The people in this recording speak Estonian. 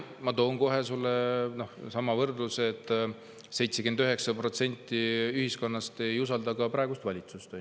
Ma toon kohe sulle samasuguse võrdluse, et 79% ühiskonnast ei usalda ka praegust valitsust.